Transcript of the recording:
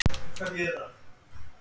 Alltaf að verki saman.